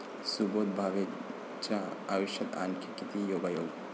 सुबोध भावेच्या आयुष्यात आणखी किती योगायोग?